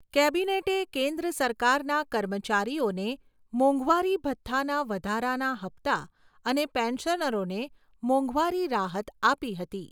કેબિનેટે કેન્દ્ર સરકારના કર્મચારીઓને મોંઘવારી ભથ્થાના વધારાના હપ્તા અને પેન્શનરોને મોંઘવારી રાહત આપી હતી.